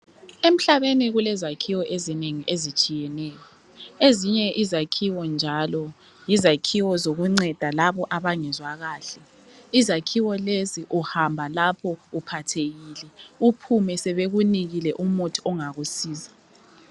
Emhlabeni kulezakhiwo ezinengi ezitshiyeneyo. Ezinye izakhiwo njalo, yizakhiwo zokunceda labo abangezwa kahle. Izakhiwo lezi uhamba lapho uphathekile, uphume sebekunikile umuthi ongakusiza.